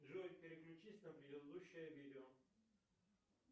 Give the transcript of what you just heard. джой переключись на предыдущее видео